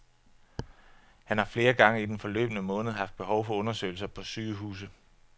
Han har flere gange i den forløbne måned haft behov for undersøgelser på sygehuse.